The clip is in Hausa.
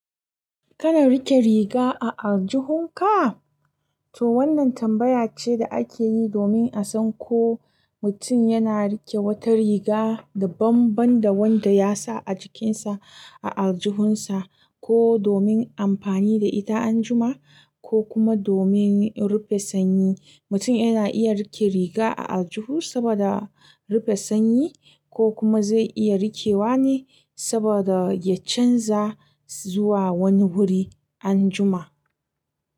Kana riƙe riga a aljihunka? To wannan tambaya ce da ake yi domin a san ko mutum yana riƙe wata riga da banban da wanda ya sa a jikinsa a aljihunsa, ko domin amfani da ita anjima, ko kuma domin rufe sanyi. Mutum yana iya riƙe riga a aljihu saboda rufe sanyi, ko kuma zai iya rikewa ne saboda ya canza zuwa wani wuri anjima.